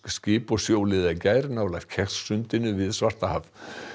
skip og sjóliða í gær nálægt sundinu við Svartahaf